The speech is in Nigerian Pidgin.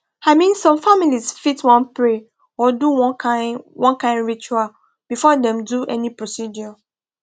i mean some families fit wan pray or do one kind one kind ritual before dem do any procedure